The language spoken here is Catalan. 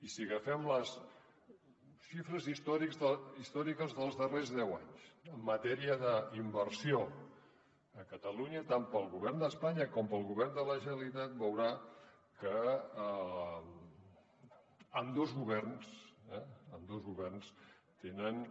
i si agafem les xifres històriques dels darrers deu anys en matèria d’inversió a catalunya tant pel govern d’espanya com pel govern de la generalitat veurà que ambdós governs ambdós governs tenen